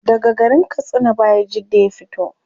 Daga garin katsina bayajidda ya fito